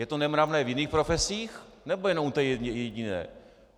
Je to nemravné v jiných profesích, nebo jen u té jediné?